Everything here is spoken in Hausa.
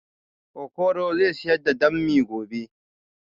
Okoro zai siyar da bammi gobe